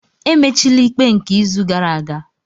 Emechila ikpe nke izu gara aga!